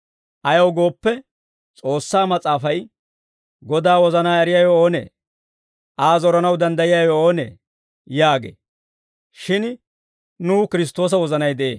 Ayaw gooppe, S'oossaa mas'aafay, «Godaa wozanaa eriyaawe oonee? Aa zoranaw danddayiyaawe oonee?» yaagee. Shin nuw Kiristtoosa wozanay de'ee.